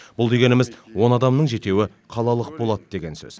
бұл дегеніміз он адамның жетеуі қалалық болады деген сөз